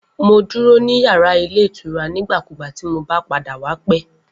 Mo duro ni yara ilé ìtura nigbakugba ti mo ba pada wa pẹ.